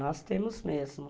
Nós temos mesmo.